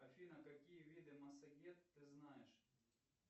афина какие виды массагет ты знаешь